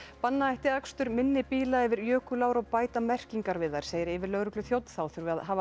banna ætti akstur minni bíla yfir jökulár og bæta merkingar við þær segir yfirlögregluþjónn þá þurfi að hafa